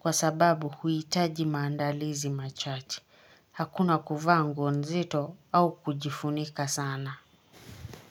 kwa sababu huhitaji maandalizi machache. Hakuna kuvaa nguo nzito au kujifunika sana.